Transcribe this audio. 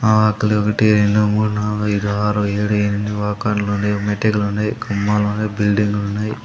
ఆ ఒక్కటి రెండు మూడు నాలుగు ఐదు ఆరు ఏడు ఎనిమిది వాకర్లు ఉన్నాయి మెటీరియల్ ఉన్నాయి కొమ్మలు ఉన్నాయి బిల్డింగ్లు ఉన్నాయి.